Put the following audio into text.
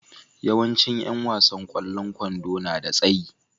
Yawancin yan wasan kwallon kwando na da tsayi.